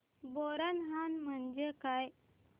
बोरनहाण म्हणजे काय